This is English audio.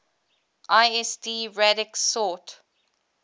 lsd radix sort